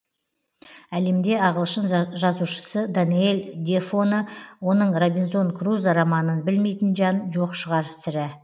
әлемде ағылшын жазушысы даниэль дефоны оның робинзон крузо романын білмейтін жан жоқ шығар сірә